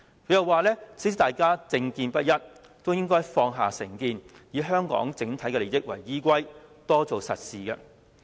他又表示，雖然大家政見不一，也應該放下成見，以香港整體利益為依歸，多做實事。